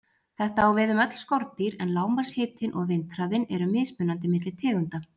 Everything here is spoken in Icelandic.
Þetta á við um öll skordýr, en lágmarkshitinn og vindhraðinn eru mismunandi milli tegunda.